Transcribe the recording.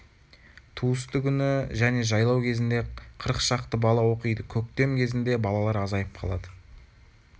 туысты күні және жайлау кезінде қырық шақты бала оқиды көктем кезінде балалар азайып қалады